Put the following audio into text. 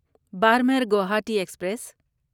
Barmer Guwahati express